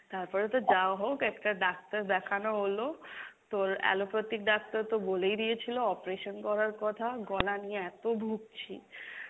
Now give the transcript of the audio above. তারপরে তো যা হোক একটা ডাক্তার দেখানো হলো, তোর allopathic ডাক্তার তো বলেই দিয়েছিলো operation করার কথা, গলা নিয়ে এত ভুগছি।